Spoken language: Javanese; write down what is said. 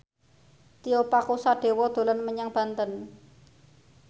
Tio Pakusadewo dolan menyang Banten